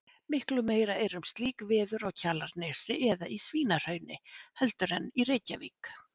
Miklu meira er um slík veður á Kjalarnesi eða í Svínahrauni heldur en í Reykjavík.